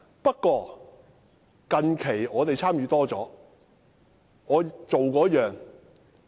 不過，近期我們較多參與。